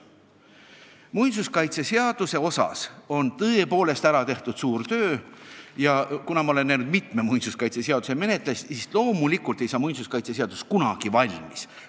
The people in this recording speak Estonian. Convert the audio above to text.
Muinsuskaitseseadusega on tõepoolest ära tehtud suur töö, aga kuna ma olen näinud mitme muinsuskaitseseaduse menetlemist, siis tean, et loomulikult ei saa see seadus kunagi valmis.